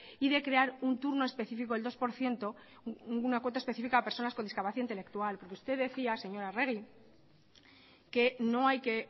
y de crear un turno especifico del dos por ciento una cuota especifica para personas con discapacidad intelectual usted decía señora arregi que no hay que